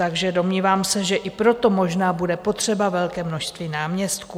Takže domnívám se, že i proto možná bude potřeba velké množství náměstků.